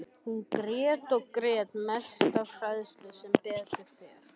Hún grét og grét, mest af hræðslu, sem betur fer.